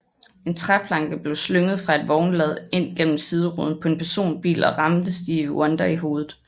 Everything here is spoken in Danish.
En træplanke blev slynget fra et vognlad ind gennem sideruden på en personbil og ramte Stevie Wonder i hovedet